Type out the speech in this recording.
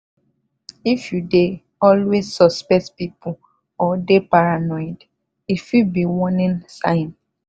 if you dey always suspect people or dey paranoid e fit be warning sign.